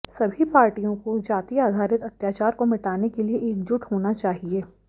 सभी पार्टियों को जाति आधारित अत्याचार को मिटाने के लिए एकजुट होना चाहिए